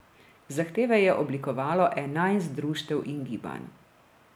Zahteve je oblikovalo enajst društev in gibanj.